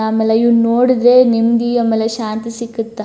ಆಮೇಲೆ ಇವನ್ನ ನೋಡಿದ್ರೆ ನೆಮ್ಮದಿ ಆಮೇಲೆ ಶಾಂತಿ ಸಿಕ್ಕುತ್ತ.